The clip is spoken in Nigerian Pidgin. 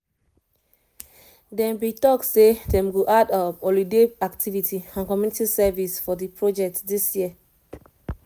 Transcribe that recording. them bin talk say them go add holiday activity and community service for the project this year